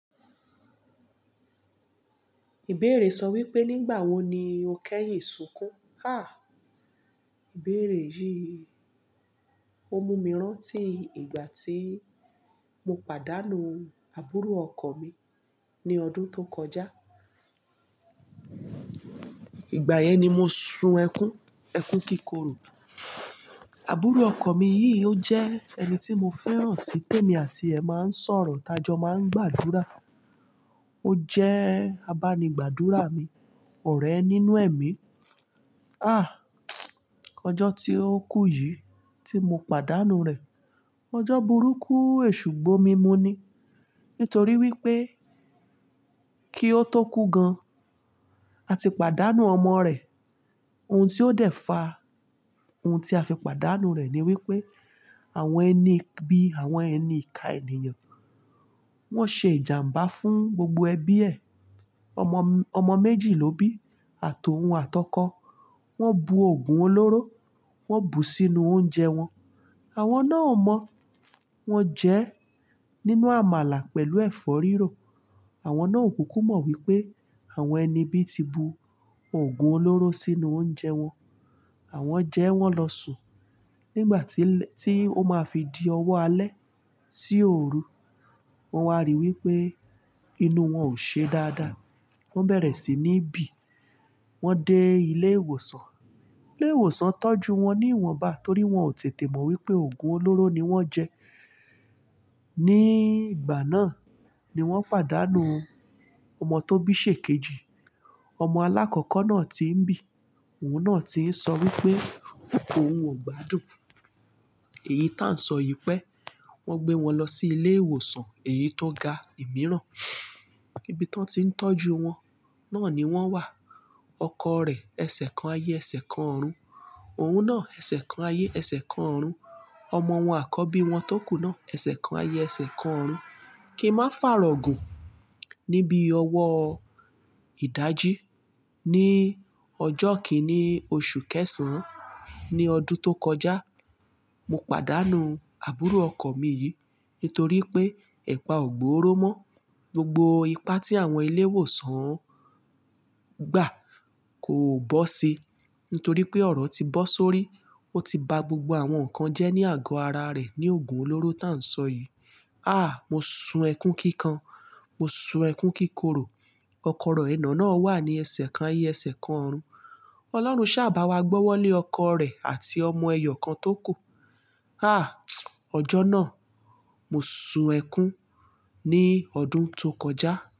Ìbéèrè sọ wípé, "nígbà wo ni o kẹ́yìn sunkún?" Ha! Ìbéèrè yìí o mú mi rántí ìgbà tí mo pàdánù àbúrò ọkọ mi ní ọdún tó kọjá. Ìgbà yẹn ni mo sun ẹkún, ẹkún kíkorò. Àbúrò ọkọ mi yìí ó jẹ́ ẹni tí mo fẹ́ràn sí i pé mi àti ẹ máa ń sọ̀rọ̀, t'á jọ máa ń gbàdúrà. Ó jẹ́ abánigbàdúrà mi, ọ̀rẹ́ nínú ẹ̀mí. Ah! Ọjọ́ tí ó kú yìí tí mo pàdánù rẹ̀, ọjọ́ burúkú, èṣùgbó mi mú ní. Nítorí wípé kí ó tó kú gan, a ti pàdánù ọmọ rẹ̀. Ohun tí ó dẹ̀ fa ohun tí a fi pàdánù rẹ̀ ni wípé àwọn ẹni bí àwọn ẹni ìká ènìyàn, wón ṣe ìjàmbá fún gbogbo ẹbí ẹ. Ọmọ, ọmọ méjì lóbí àtọ̀hún àtọkọ. Wón bu òògùn olóró, wón bu sínú oúnjẹ wọn. Àwọn náà o mọ̀, wọn jẹ́ nínú àmàlà pẹ̀lú ẹ̀fọ́ rírò. Àwọn náà ò kúkú mọ̀ wípé àwọn ẹni bí ti bu òògùn olóró sínú oúnjẹ wọn. Àwọn jẹ ẹ́, wọ́n lọ sùn. Nígbà tí, tí ó máa fi di ọwọ́ alẹ́ sí òru, wọn wá ríi wípé inú wọn ò ṣe dáadáa. Wọn bẹ̀rẹ̀ sí ní bì. Wọn dé ilé ìwòsàn. Ilé ìwòsàn tọ́jú wọn ní ìwọ̀nba torí wọn ò tètè mọ̀ wípé òògùn olóró ni wọ́n jẹ. Ni ìgbà náà ni wọ́n pàdánù ọmọ tó bí sèkejì. Ọmọ alákọ́kọ́ náà tí ń bì, òun náà tí ń sọ wípé òun ò gbádùn èyí tá ń sọ yìí pé wọ́n gbé wọn lọ sí ilé ìwòsàn èyí tó ga ìmíràn. Ibi tí wọ́n ti ń tọ́jú wọn náà ni wọ́n wà, ọkọ rẹ̀ ẹsẹ̀ kan ayé ẹsẹ̀ kan ọ̀run. Òun náà ẹsẹ̀ kan ayé ẹsẹ̀ kan ọ̀run. Ọmọ wọn àkọ́bí wọn tó kú náà ẹsẹ̀ kan ayé ẹsẹ̀ kan ọ̀run. Kí n máa fàrọ̀ gùn. Níbi ọwọ́ ìdají ní ọjọ́ kíní oṣù kẹsàn-án ní ọdún tó kọjá, mo pàdánù àbúrò ọkọ mi yìí nítorí pé ẹ̀pà ò gbò ó ró mọ́. Gbogbo ipá tí àwọn ilé ìwòsàn gbà kò bọ́ si nítorí pé ọ̀rọ̀ ti bọ́ sórí. Ó ti ba gbogbo àwọn nǹkan jẹ́ ní àgọ́ ara rẹ̀ ní òògùn olóró tá ń sọ yìí. Ah! Mo sun ẹkún kíkan, mo sun ẹkún kíkorò. Ọkọ̀ rẹ̀ náà wà ní ẹsẹ̀ kan ayé ẹsẹ̀ kan ọ̀run. Ọlọ́run ṣàbáwágbọ́wọ́lé ọkọ rẹ̀ àti ọmọ ẹyọ kan tó kù. Ah! Ọjọ́ náà mo sun ẹkún ní ọdún tó kọjá.